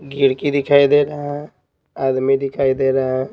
गिड़की दिखाई दे रहा है आदमी दिखाई दे रहा है।